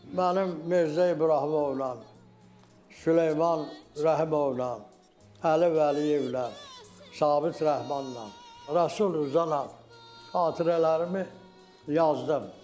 Mənim Mirzə İbrahimovla, Süleyman Rəhimovla, Əli Vəliyevlə, Sabit Rəhmanla, Rəsul Rza ilə xatirələrimi yazdım.